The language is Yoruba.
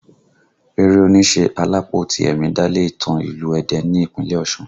Eré oníṣe Alápó Tìẹ̀mì dálé ìtàn ìlú Ẹdẹ ní Ìpínlẹ̀ Ọ̀ṣun